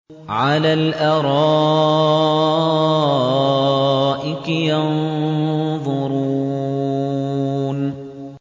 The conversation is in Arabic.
عَلَى الْأَرَائِكِ يَنظُرُونَ